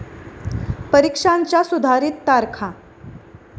परीक्षांच्या सुधारित तारखा